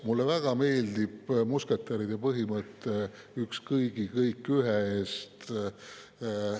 Mulle väga meeldib musketäride põhimõte "Üks kõigi, kõik ühe eest".